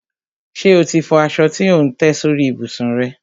Ṣe o ti fọ aṣọ tí ò ń tẹ́ sórí ìbùsùn rẹ?